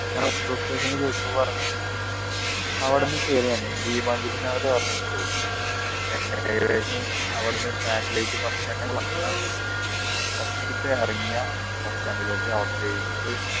പറഞ്ഞു അവിടുന്ന് കേറി ഞാൻ ദീപാഞ്ജലി നഗർ എന്നുപറഞ്ഞ ഒരു stop ഉണ്ട് satellite bus stand first അവിടുന്നൊരു എഴുന്നൂറ്